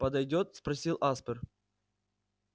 подойдёт спросил аспер